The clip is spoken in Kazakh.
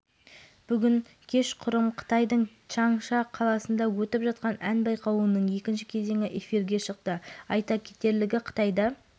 димаш құдайбергеновке байқауда қолдау білдіру үшін қазақстаннан әкесі барды сахнадағы сәтті өнерінен кейін әкесін барып құшақтаған димашқа жиналған жұрт жылы шырай